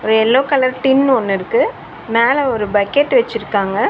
ஒரு yellow colour tin ஒன்னருக்கு மேல ஒரு பக்கெட் வெச்சிருக்காங்க.